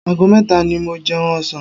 Ago mẹ́ta ni mo jẹun ọ̀sán.